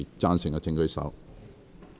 贊成的請舉手。